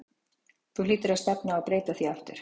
Þú hlýtur á að stefna á að breyta því aftur?